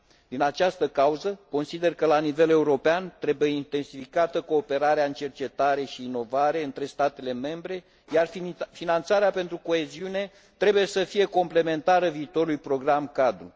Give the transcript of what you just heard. Din această cauză, consider că la nivel european trebuie intensificată cooperarea în materie de cercetare și inovare între statele membre, iar finanțarea pentru coeziune trebuie să fie complementară viitorului program cadru.